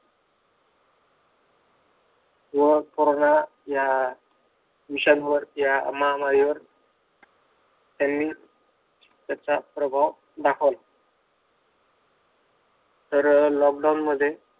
व कोरोना या विषाणू त्या महामारीवर त्यांनी त्यांचा पर्याय दाखवला तर लॉकडाउन मध्ये